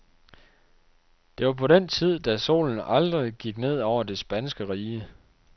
Det var på den tid, da solen aldrig gik ned over det spanske rige.